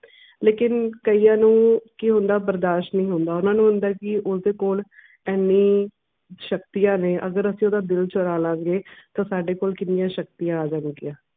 ਲੇਕਿਨ ਕਇਆਂ ਨੂੰ ਕੀ ਹੁੰਦਾ, ਬਰਦਾਸ਼ਤ ਨਹੀਂ ਹੁੰਦਾ। ਓਹਨਾ ਨੂੰ ਹੁੰਦਾ ਕਿ ਉਸ ਦੇ ਕੋਲ ਐਨੀ ਸ਼ਕਤੀਆਂ ਨੇ। ਅਗਰ ਅਸੀਂ ਓਦਾਂ ਦਿਲ ਚੁਰਾ ਲਾਂਗੇ ਤੋਂ ਸਾਡੇ ਕੋਲ ਕਿੰਨੀਆਂ ਸ਼ਕਤੀਆਂ ਆ ਜਾਣ ਗਿਆ।